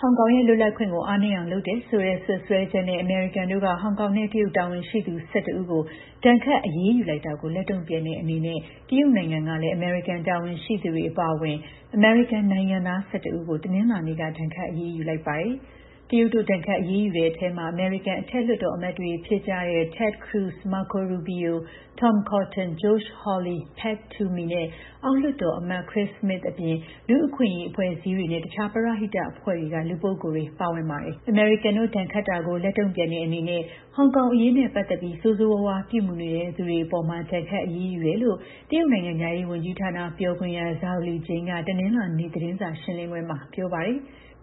ဟောင်ကောင်ရဲ့ လွတ်လပ်ခွင့်ကို အားနည်းအောင်လုပ်တယ်ဆိုတဲ့ စွပ်စွဲချက်နဲ့ အမေရိကန်တို့က ဟောင်ကောင်နဲ့ တရုတ် တာဝန်ရှိသူ ၁၁ ဦးကို ဒဏ်ခတ်အရေးယူတာလိုက်တာကို လက်တုံ့ပြန်တဲ့ အနေနဲ့ တရုတ်နိုင်ငံကလည်း အမေရိကန်တာဝန်ရှိသူတွေအပါအဝင် အမေရိကန်နိုင်ငံသား ၁၁ ဦးကို တနင်္လာနေ့က ဒဏ်ခတ် အရေးယူလိုက်ပါတယ်။ တရုတ်တို့ ဒဏ်ခတ် အရေးယူတဲ့အထဲ အမေရိကန် အထက် လွှတ်တော် အမတ်တွေ ဖြစ်ကြတဲ့ Ted Cruz ၊ Marco Rubio ၊ Tom Cotton ၊ Josh Hawley ၊ Pat Toomey နဲ့အောက်လွှတ်တော်အမတ် Chris Smith အပြင် လူ့အခွင့်အရေးအဖွဲ့အစည်းတွေနဲ့တခြားပရဟိတအဖွဲ့တွေက လူပုဂ္ဂိုလ်တွေ ပါဝင်ပါတယ်။ အမေရိကန်တို့ ဒဏ်ခတ်တာကို လက်တုံ့ပြန်တဲ့ အနေနဲ့ ဟောင်ကောင်အရေးနဲ့ ပတ်သက်ပြီး ဆိုးဆိုးရွားရွား ပြုမူနေတဲ့ သူတွေအပေါ် ဒဏ်ခတ်အရေးယူတယ်လို့ တရုတ်နိုင်ငံခြားရေး ဝန်ကြီးဌာန ပြောခွင့်ရ Zhao Lijian က တနင်္လာနေ့ သတင်းစာရှင်းလင်းပွဲမှာ ပြောပါ တယ်။